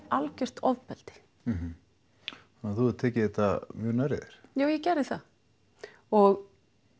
algjört ofbeldi þannig þú hefur tekið þetta mjög nærri þér já ég gerði það og